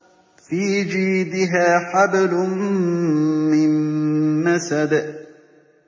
فِي جِيدِهَا حَبْلٌ مِّن مَّسَدٍ